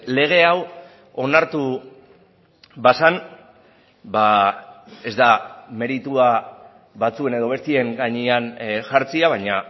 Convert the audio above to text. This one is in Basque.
lege hau onartu bazen ez da meritua batzuen edo besteen gainean jartzea baina